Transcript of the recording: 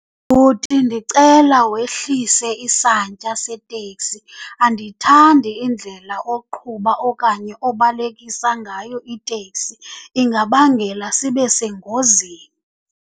Bhuti, ndicela wehlise isantya seteksi. Andiyithandi indlela oqhuba okanye obalekisa ngayo iteksi, ingabangela sibe sengozini.